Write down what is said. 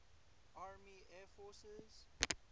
army air forces